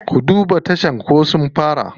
Ku duba tashar ko sun fara.